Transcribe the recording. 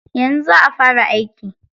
Yanzu za'a fara aiki.